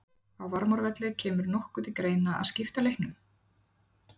Á Varmárvelli Kemur nokkuð til greina að skipta leiknum?